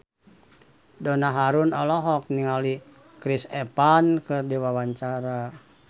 Donna Harun olohok ningali Chris Evans keur diwawancara